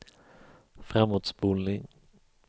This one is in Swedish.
framåtspolning